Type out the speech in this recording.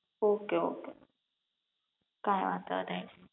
okay okay કઈ વાંધો નઈ